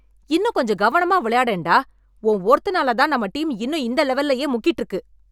இன்னும் கொஞ்சம் கவனமா விளையாடேன் டா! உன் ஒருத்தனாலத் தான் நம்ம டீம் இன்னும் இந்த லெவல்லியே முக்கிட்டு இருக்கு!